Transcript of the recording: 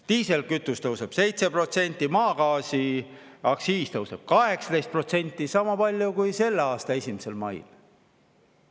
Diislikütuse tõuseb 7%, maagaasi aktsiis tõuseb 18% – sama palju kui selle aasta 1. mail.